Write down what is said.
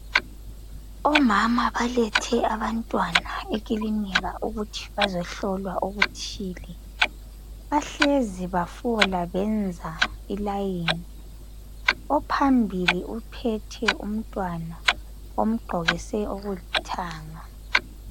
Omama balethe abantwana ekulinika ukuthi bazohlolwa okuthile. Bahlezi bafola benza ilayini. Ophambili uphethe umtwana omqokise okulithanga.